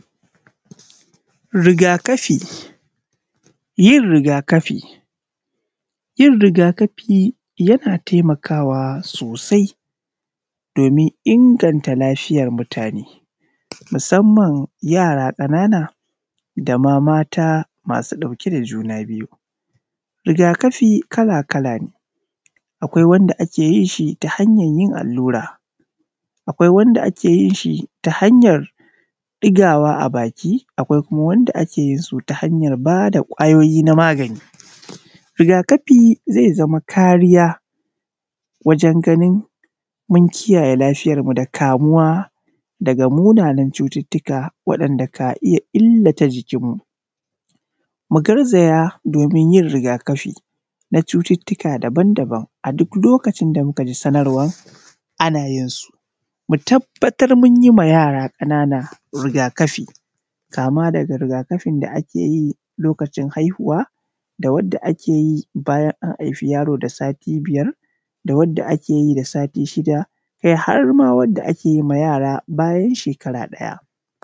Rigakafi yin rigakafi, yin riga-kafi, yin rigakafi yana taimakawa sosai doni inganta lafiyar mutane, musamman yara ƙanana da ma mata masu ɗauke da juna biyu. Rigakafi kala-kala ne: Akwai wanda ta hanyar yin allura. Akwai wanda ake yin shi ta hanyar ɗigawa a baki. Akwai kuma waɗanda ake yin su ta hanyar ba da magani. Rigakafi zai zama kariya wajen ganin mun kiyaye lafiyarmu da kamuwa daga munanan cututuwa, waɗanda ka iya illata jikinmu. Mu garzaya domin yin rigakafi na cututuwa daban-daban a duk lokacin da muka ji sanarwan ana yin su. Mu tabatar mun yi wa yara ƙanana rigakafi, kama daga rigakafin da ake yi lokacin haihuwa, da wadda ake yi bayan an haifi yaro da sati biyar, da wadda ake yi da sati shida, kai, har ma wadda ake yi wa yara bayan shekara ɗaya.